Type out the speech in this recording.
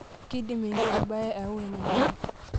Keidim enkiti mbae ayau enyamali